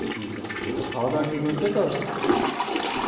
ঠিক আছে , আর খাওয়া দাওয়া ঠিক হচ্ছে তো?